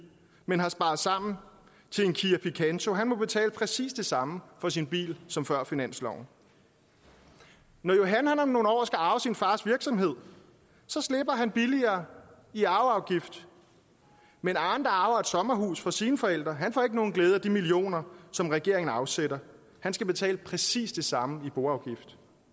men har sparet sammen til en kia picanto må betale præcis det samme for sin bil som før finansloven når johan om nogle år skal arve sin fars virksomhed slipper han billigere i arveafgift men arne der arver et sommerhus fra sine forældre får ikke nogen glæde af de millioner som regeringen afsætter han skal betale præcis det samme i boafgift